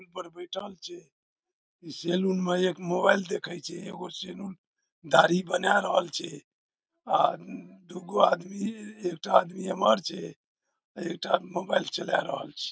कुर्सी पर बैठल छै सैलून में एक मोबाइल देखे छै एगो सैलून दाढ़ी बनाय रहल छै आ दुगो आदमी एकटा आदमी एमहर छै एकटा आदमी मोबाइल चला रहल छै।